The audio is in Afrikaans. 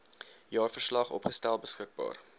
jaarverslag opgestel beskikbaar